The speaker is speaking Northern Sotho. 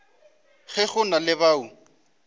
ge go na le bao